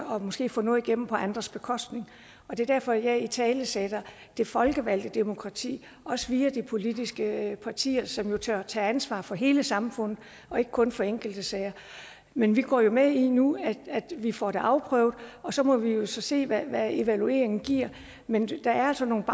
måske at få noget igennem på andres bekostning det er derfor jeg italesætter det folkevalgte demokrati også via de politiske partier som tager tager ansvaret for hele samfundet og ikke kun for enkelte sager men vi går med i nu at vi får det afprøvet og så må vi jo se hvad evalueringen giver men der er altså nogle